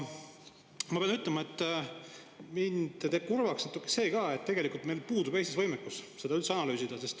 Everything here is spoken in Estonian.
Ma pean ütlema, et mind teeb kurvaks ka see, et tegelikult meil puudub Eestis võimekus seda üldse analüüsida.